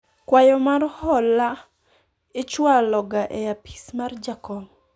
kwayo mar hola ichwalo ga e apis mar jakom